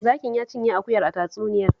Zakin ya cinye akuyar a tatsuniyar